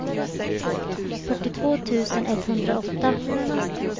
fyrtiotvå tusen etthundraåtta